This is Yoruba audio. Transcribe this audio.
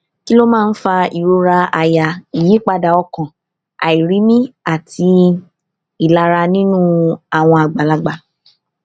kí ló máa ń fa ìrora àyà ìyípadà ọkàn àìrími àti ìlara nínú àwọn àgbàlagbà